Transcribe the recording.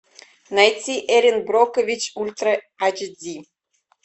найти эрин брокович ультра эйч ди